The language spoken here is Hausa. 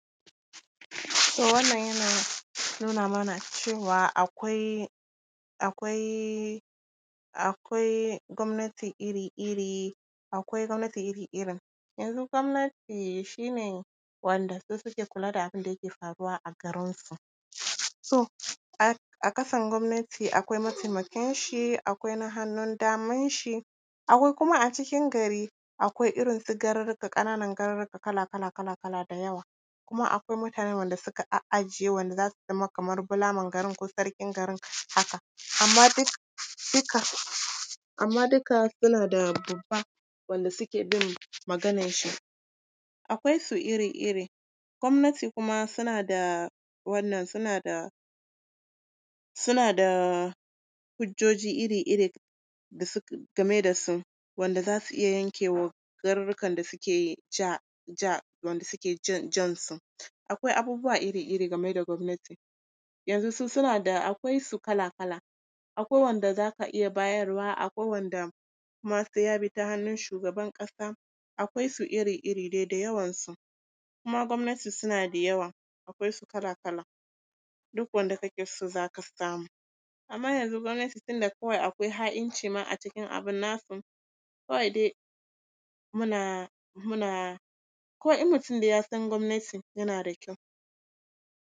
To wannan yana nuna mana cewa akwai, akwai, akwai gwamnati iri-iri, akwai gwamnati iri-irin. Yanzu gwamnati shi ne wanda su suke kula da abin da yake faruwa a garinsu. So, a ƙasan gwamnati akwai mataimakinshi, akwai na hannun damanshi, akwai kuma a cikin gari, akwai irin su garurruka, ƙananan garurruka kala kala kala kala da yawa, kuma akwai mutane wanda suka a’ajiye wanda za su zama kamar bulaman garin ko sarkin garin haka. Amma duk, duka, amma duka suna da babba wanda suke bin magananshi, akwai su iri-iri. Gwamnatikuma suna da wannan, suna da, suna da hujjoji iri-iri game da su wanda za su iya yanke wa garurrukan da suke ja, ja, wanda suke jan su. Akwai abubuwa iri-iri game da gwamnati, yanzu suna da… akwai su kala-kala: akwai wanda za ka iya bayarwa, akwai wanda kuma sai ya bi ta hannun shugaban ƙasa, akwai su iri-iri dai, da yawansu. Kuma gwamnati suna da yawa, akwai su kala-kala, duk wanda kake so, za ka samu. Amma yanzu gwamnati tunda kawai akwai ha’inci ma a cikin abin nasu, kawai dai muna… muna… kawai in mutum dai ya san gwamnati yana da kyau.